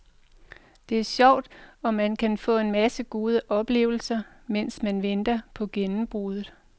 Det er sjovt og man kan få en masse gode oplevelser, mens man venter på gennembruddet.